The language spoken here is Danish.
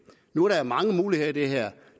nu er der mange muligheder i det her